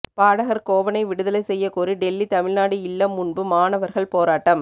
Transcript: பாடகர் கோவனை விடுதலை செய்யக் கோரி டெல்லி தமிழ்நாடு இல்லம் முன்பு மாணவர்கள் போராட்டம்